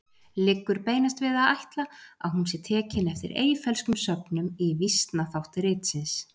Liggur beinast við að ætla að hún sé tekin eftir Eyfellskum sögnum í vísnaþátt ritsins.